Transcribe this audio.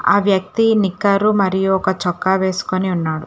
ఆహ్ వ్యక్తి నీకారు మరియు చొక్క వెస్కొని ఉన్నారు.